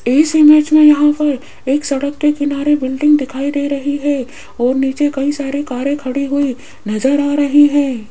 इस इमेज में यहां पर एक सड़क के किनारे बिल्डिंग दिखाई दे रही है और नीचे कई सारे कारे खड़ी हुई नजर आ रही है।